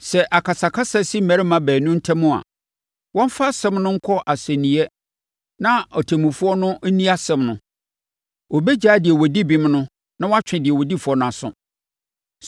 Sɛ akasakasa si mmarima baanu ntam a, wɔmfa asɛm no nkɔ asɛnniiɛ na ɔtemmufoɔ no nni asɛm no. Ɔbɛgyaa deɛ ɔdi bem no na wɔatwe deɛ ɔdi fɔ no aso.